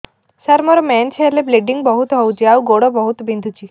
ସାର ମୋର ମେନ୍ସେସ ହେଲେ ବ୍ଲିଡ଼ିଙ୍ଗ ବହୁତ ହଉଚି ଆଉ ଗୋଡ ବହୁତ ବିନ୍ଧୁଚି